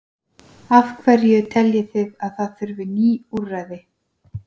Af hverju teljið þið að það þurfi ný úrræði?